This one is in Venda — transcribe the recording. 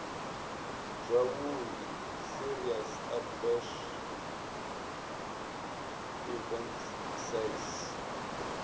zwavhui serious adverse events saes